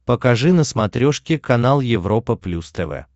покажи на смотрешке канал европа плюс тв